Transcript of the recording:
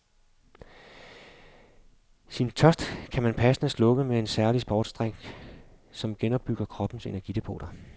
Sin tørst kan man passende slukke med en særlig sportsdrink, som genopbygger kroppens energidepoter.